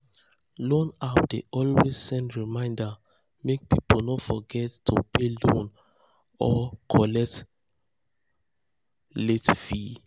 loan app dey always send reminder make people no forget to pay loan or collect late fee.